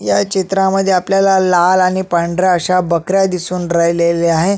या चित्रामध्ये आपल्याला लाल आणि पांढऱ्या अश्या बकऱ्या दिसून राहिलेल्या आहे.